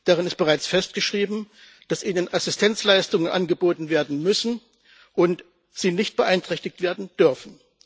Darin ist bereits festgeschrieben, dass ihnen Assistenzleistungen angeboten werden müssen und sie nicht beeinträchtigt werden dürfen.